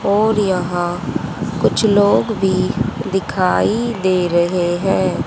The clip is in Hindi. और यहां कुछ लोग भी दिखाई दे रहे हैं।